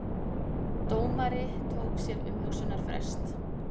Dómari tók sér umhugsunarfrest